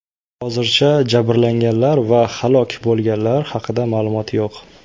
Hozircha jabrlanganlar va halok bo‘lganlar haqida ma’lumot yo‘q.